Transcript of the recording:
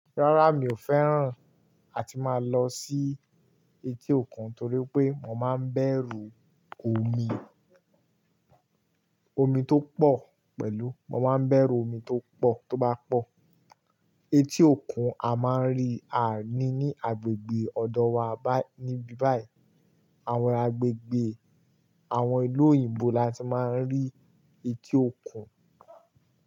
Rárá, mi ò fẹ́ràn àti máa lọ sí etí òkun torí pé mo máa ń bẹ̀rù omi, omi tó pọ̀ pẹ̀lú, mo máa ń bẹ̀rù omi tó pọ̀ tó bá pọ̀. Etí òkun a máa ń rí àní ní agbègbè ọ̀dọ̀ wa báyìí níbí báyìí. Àwọn agbègbè àwọn ìlú òyìnbó la ti máa ń rí etí òkun.